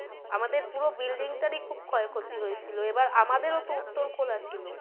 আমাদের পুরো building টার ই খুব ক্ষয় ক্ষতি হয়েছিলো, এবার আমাদের ও তো উত্তর খোলা ছিলো।